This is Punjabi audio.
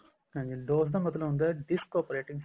ਹਾਂਜੀ DOS ਦਾ ਮਤਲਬ ਹੁੰਦਾ disk operating